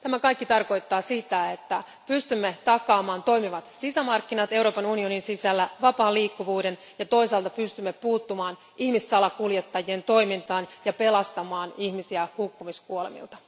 Tämä kaikki tarkoittaa sitä, että pystymme takaamaan toimivat sisämarkkinat Euroopan unionin sisällä, vapaan liikkuvuuden, ja toisaalta pystymme puuttumaan ihmissalakuljettajien toimintaan ja pelastamaan ihmisiä hukkumiskuolemilta.